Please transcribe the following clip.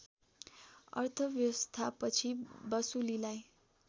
अर्थव्यवस्था पछि वसुलीलाई